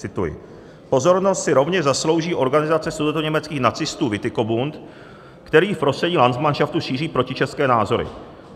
Cituji: Pozornost si rovněž zaslouží organizace sudetoněmeckých nacistů Witikobund, který v prostředí landsmanšaftu šíří protičeské názory.